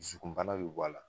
Dusukunbana be bɔ ala